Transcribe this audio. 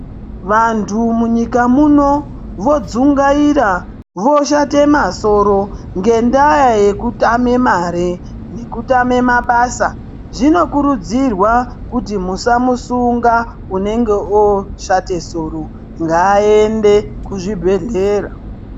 Vantu munyika muno vodzungaira voshate masoro ngendaa yekutame mare nekutame mabasa. Zvinokurudzirwa kuti musamusunga unenge oshate soro, ngaende kuzvibhedhlera.